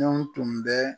Anw tun bɛ